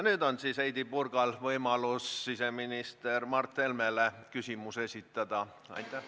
Nüüd on Heidy Purgal võimalus esitada küsimus siseminister Mart Helmele.